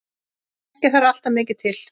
Ekki þarf alltaf mikið til.